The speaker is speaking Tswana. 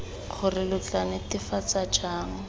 gore lo tla netefatsa jang